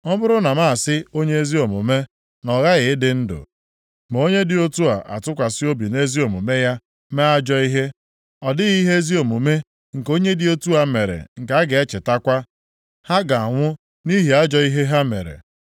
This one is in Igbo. Ọ bụrụ na m asị onye ezi omume, na ọ ghaghị ịdị ndụ, ma onye dị otu a atụkwasị obi nʼezi omume ya mee ajọ ihe, ọ dịghị ihe ezi omume nke onye dị otu a mere nke a ga-echetakwa. Ha ga-anwụ nʼihi ajọ ihe ha mere.